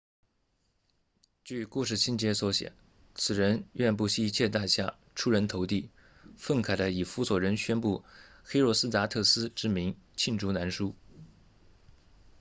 据故事情节所写此人愿不惜一切代价出人头地愤慨的以弗所人宣布黑若斯达特斯 herostratus 之名罄竹难书